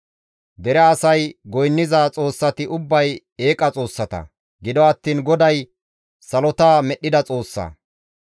Dere asay goynniza xoossati ubbay eeqa xoossata; gido attiin GODAY salota medhdhida Xoossa.